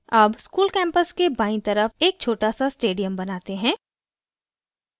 अब school campus के बायीं तरफ एक छोटा सा stadium बनाते हैं